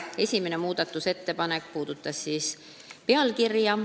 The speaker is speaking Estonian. Esimene muudatusettepanek puudutas pealkirja.